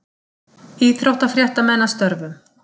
Íþróttafréttamenn að störfum.